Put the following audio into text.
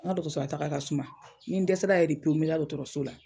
N ka dɔgɔtɔrɔso lataga, a ka suma, ni dɛsɛra yɛrɛ de pewu, n bɛ taa dɔgɔtɔrɔso la.